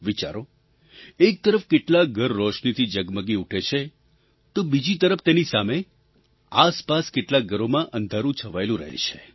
વિચારો એક તરફ કેટલાંક ઘર રોશનીથી ઝગમગી ઊઠે છે તો બીજી તરફ તેની સામે આસપાસ કેટલાંક ઘરોમાં અંધારું છવાયેલું રહે છે